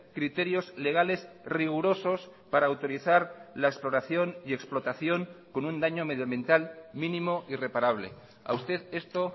criterios legales rigurosos para utilizar la exploración y explotación con un daño medioambiental mínimo y reparable a usted esto